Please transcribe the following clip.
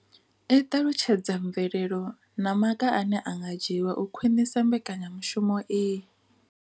I ṱalutshedza mvelelo na maga ane a nga dzhiwa u khwinisa mbekanya mushumo iyi.